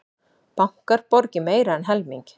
Bankar borgi meira en helming